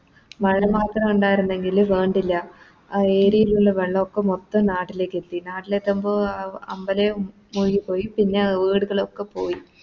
മഴ മാത്ര ഇണ്ടാർന്നെങ്കില് വേണ്ടില്ല ആ Area ല് ള്ള വെള്ളൊക്കെ മൊത്തം നാട്ടിലേക്കെത്തി നാട്ടിലെത്തുമ്പോ ആ അമ്പലെ മുഴുകിപോയി പിന്നെ ആ അഹ് വീട്കളൊക്കെ പോയി